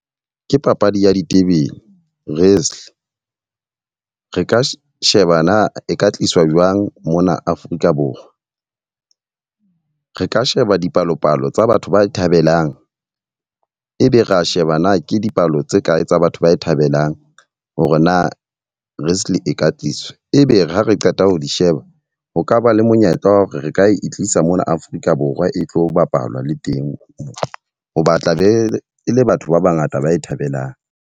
Ke papadi ya ditebele, wrestle. Re ka sheba na e ka tliswa jwang mona Afrika Borwa. Re ka sheba dipalopalo tsa batho ba e thabelang, e be ra sheba na ke dipalo tse kae tsa batho ba e thabelang hore na wrestle e ka tliswa. E be re ha re qeta ho di sheba ho kaba le monyetla wa hore re ka e tlisa mona Afrika Borwa e tlo bapalwa le teng. Ho ba tla be e le batho ba ba ngata ba e thabelang.